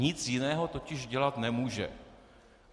Nic jiného totiž dělat nemůže.